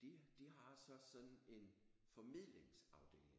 De de har så sådan en formidlingsafdeling